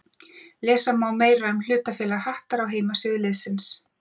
Lesa má meira um hlutafélag Hattar á heimasíðu liðsins.